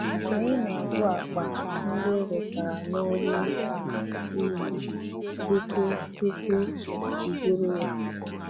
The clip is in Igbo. Anyị na-agụ akpa ndị e wetara n'ọru ubi tupu tupu iburu ya.